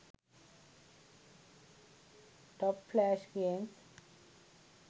top flash games